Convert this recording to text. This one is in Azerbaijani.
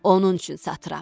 Onun üçün satıram.